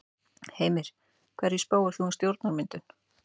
Heimir: Hverju spáir þú um stjórnarmyndun?